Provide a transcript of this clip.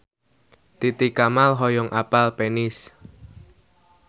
Titi Kamal hoyong apal Venice